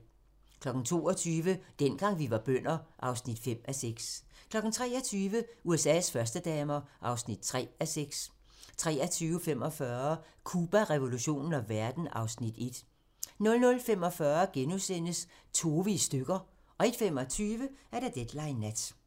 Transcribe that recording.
22:00: Dengang vi var bønder (5:6) 23:00: USA's førstedamer (3:6) 23:45: Cuba, revolutionen og verden (Afs. 1) 00:45: Tove i stykker * 01:25: Deadline Nat